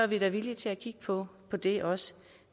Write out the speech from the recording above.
vi da villige til at kigge på det også